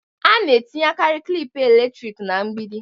A na-etinyekarị klịp eletrik na mgbidi.